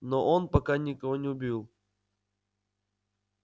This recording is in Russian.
но он пока никого не убил